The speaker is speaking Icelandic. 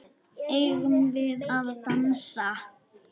Eigum við að dansa?